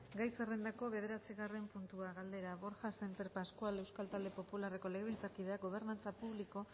gai zerrendako bederatzigarren puntua galdera borja sémper pascual euskal talde popularreko legebiltzarkideak gobernantza publiko